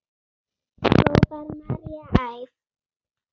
hrópar María æf.